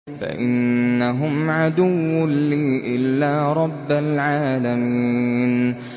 فَإِنَّهُمْ عَدُوٌّ لِّي إِلَّا رَبَّ الْعَالَمِينَ